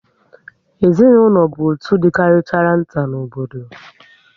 Ezinaụlọ bụ otú dị karịchara nta n'obodo